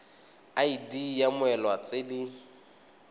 id ya mmoelwa tse di